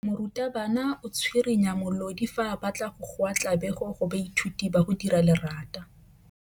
Morutwabana o tswirinya molodi fa a batla go goa tlabego go baithuti ba go dira lerata.